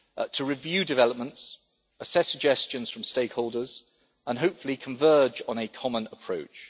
to review developments, assess suggestions from stakeholders, and hopefully converge on a common approach.